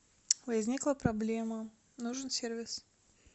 возникла проблема нужен сервис